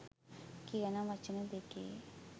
කියන වචන දෙකේ